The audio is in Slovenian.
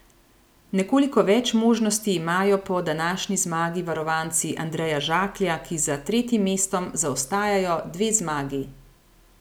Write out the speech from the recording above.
Nekoliko več možnosti imajo po današnji zmagi varovanci Andreja Žaklja, ki za tretjim mestom zaostajajo dve zmagi.